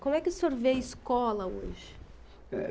Como é que o senhor vê a escola hoje? Eh...